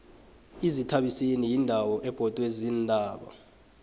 izithabiseni yindawo ebhodwe ziintaba